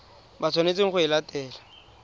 ba tshwanetseng go e latela